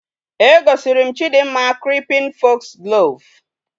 E gosirim chidimma creeping foxglove